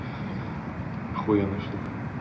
ахуенная штука